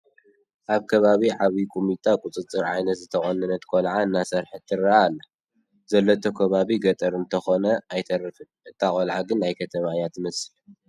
ኣብ ከባቢ ዓብዪ ቁሚጦ ቁፅርፅር ዓይነት ዝተቖነነት ቆልዓ እናሰሓቐት ትርአ ኣላ፡፡ ዘለቶ ከባቢ ገጠር እንተይኮነ ኣይተርፍን፡፡ እታ ቆልዓ ግን ናይ ከተማ እያ ትመስል፡፡